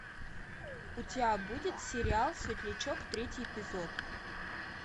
у тебя будет сериал светлячок третий эпизод